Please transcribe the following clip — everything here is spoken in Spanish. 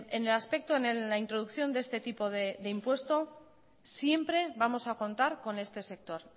en el aspecto en la introducción de este tipo de impuesto siempre vamos a contar con este sector